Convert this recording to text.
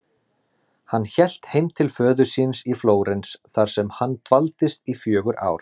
Hann hélt heim til föður síns í Flórens þar sem hann dvaldist í fjögur ár.